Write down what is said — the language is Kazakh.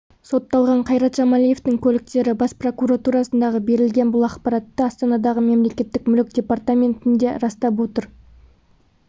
сотталған қайрат жамалиевтің көліктері бас прокуратурасына берілген бұл ақпаратты астанадағы мемлекеттік мүлік департаменті де растап отыр